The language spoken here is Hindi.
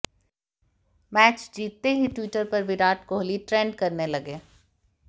मैच जीतते ही ट्विटर पर विराट कोहली ट्रेंड करने लगे